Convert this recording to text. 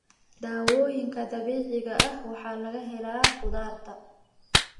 Daawooyinka dabiiciga ah waxaa laga helaa khudaarta.